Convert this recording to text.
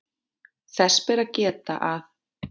Þess ber að geta að